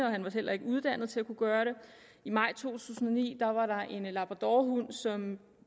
og han var heller ikke uddannet til at kunne gøre det i maj to tusind og ni var der en labradorhund som